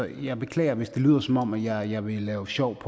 jeg beklager hvis det lyder som om jeg vil lave sjov